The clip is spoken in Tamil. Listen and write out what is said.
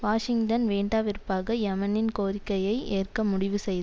வாஷிங்டன் வேண்டா வெறுப்பாக யெமனின் கோரிக்கையை ஏற்க முடிவு செய்